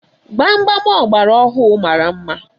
Gbam gbam ọgbara ọhụụ mara mma.